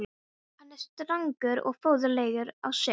Hann er strangur og föður legur á svip.